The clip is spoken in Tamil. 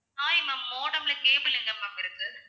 hi ma'am modem ல cable எங்க ma'am இருக்கு